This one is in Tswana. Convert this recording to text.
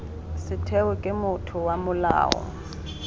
setheo ke motho wa molao